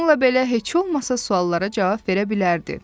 Bununla belə, heç olmasa suallara cavab verə bilərdi.